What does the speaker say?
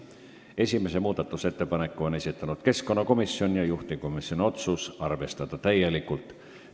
Esimese muudatusettepaneku on esitanud keskkonnakomisjon, juhtivkomisjoni otsus on arvestada täielikult.